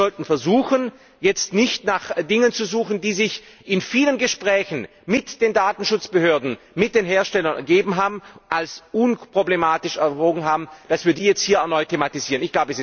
Wir sollten versuchen, jetzt nicht nach Dingen zu suchen, die sich in vielen Gesprächen mit den Datenschutzbehörden, mit den Herstellern als unproblematisch ergeben haben, und sie jetzt erneut zu thematisieren.